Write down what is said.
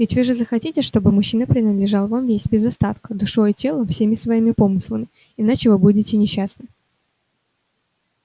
ведь вы же захотите чтобы мужчина принадлежал вам весь без остатка душой и телом всеми своими помыслами иначе вы будете несчастны